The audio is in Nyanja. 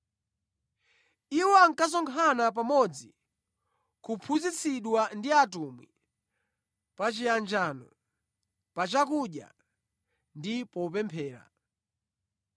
Iwo ankasonkhana pamodzi kuphunzitsidwa ndi atumwi, pachiyanjano, pachakudya ndi popemphera.